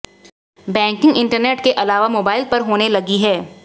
banking internet के अलावा mobile पर होने लगी है